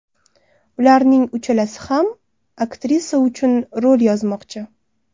Ularning uchalasi ham aktrisa uchun rol yozmoqchi.